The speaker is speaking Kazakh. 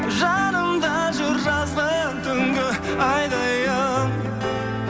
жанымда жүр жазғы түнгі айдайын